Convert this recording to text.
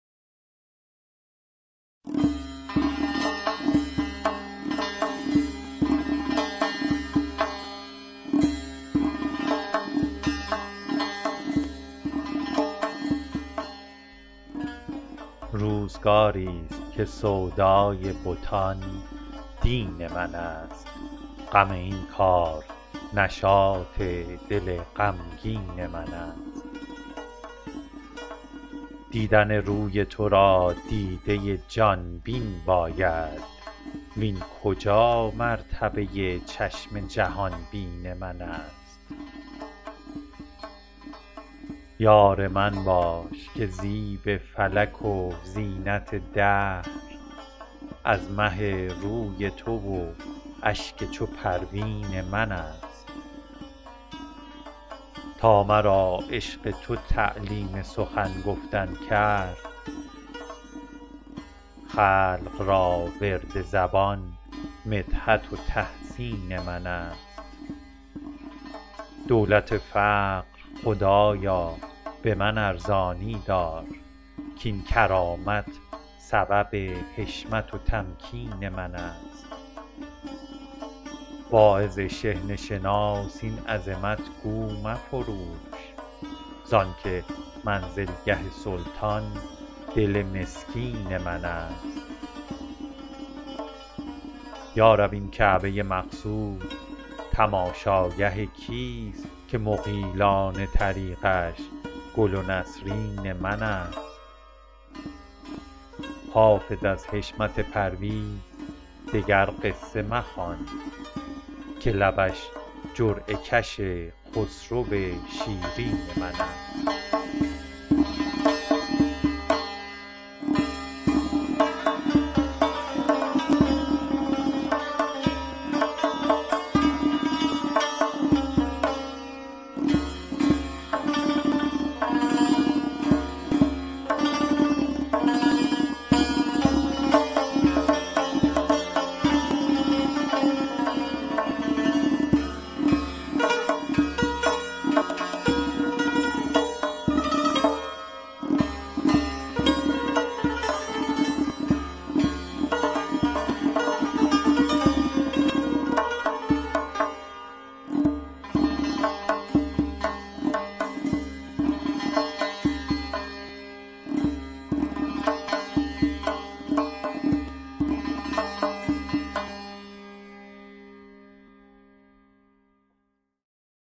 روزگاری ست که سودای بتان دین من است غم این کار نشاط دل غمگین من است دیدن روی تو را دیده ی جان بین باید وین کجا مرتبه ی چشم جهان بین من است یار من باش که زیب فلک و زینت دهر از مه روی تو و اشک چو پروین من است تا مرا عشق تو تعلیم سخن گفتن کرد خلق را ورد زبان مدحت و تحسین من است دولت فقر خدایا به من ارزانی دار کاین کرامت سبب حشمت و تمکین من است واعظ شحنه شناس این عظمت گو مفروش زان که منزلگه سلطان دل مسکین من است یا رب این کعبه ی مقصود تماشاگه کیست که مغیلان طریقش گل و نسرین من است حافظ از حشمت پرویز دگر قصه مخوان که لبش جرعه کش خسرو شیرین من است